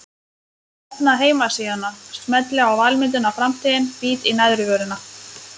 Opna heimasíðuna, smelli á valmyndina Framtíðin, bít í neðrivörina.